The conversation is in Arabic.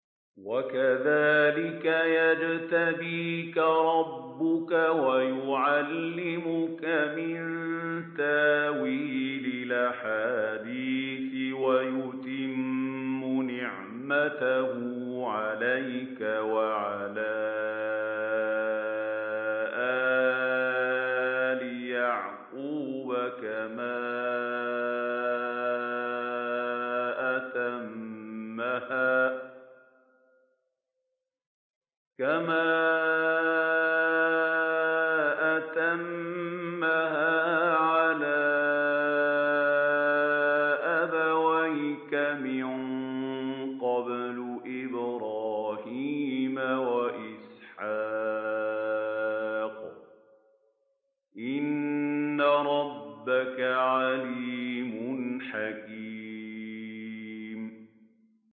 وَكَذَٰلِكَ يَجْتَبِيكَ رَبُّكَ وَيُعَلِّمُكَ مِن تَأْوِيلِ الْأَحَادِيثِ وَيُتِمُّ نِعْمَتَهُ عَلَيْكَ وَعَلَىٰ آلِ يَعْقُوبَ كَمَا أَتَمَّهَا عَلَىٰ أَبَوَيْكَ مِن قَبْلُ إِبْرَاهِيمَ وَإِسْحَاقَ ۚ إِنَّ رَبَّكَ عَلِيمٌ حَكِيمٌ